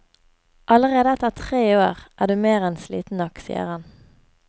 Allerede etter tre år er du mer enn sliten nok, sier han.